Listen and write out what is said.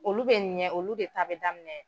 Olu bɛ ɲɛ olu de ta bɛ daminɛ.